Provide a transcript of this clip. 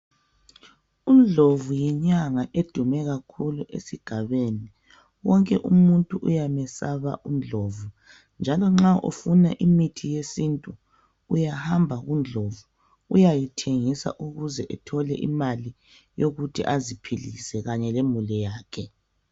uNdlovu yinyanga edume kakhulu esigabeni wonke umuntu ayamusaba uNdlovu njalo nxa ufuna imithi yesintu uyahamba ku Ndlovu uyayithengisa ukuze ethole imali yokuthi aziphilise kanye lemuli yakhe